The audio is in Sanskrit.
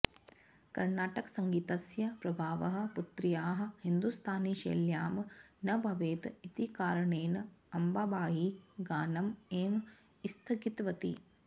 कर्णाटकसङ्गीतस्य प्रभावः पुत्र्याः हिदुस्तानी शैल्यां न भवेत् इति कारणेन अम्बाबायी गानम् एव स्थगितवती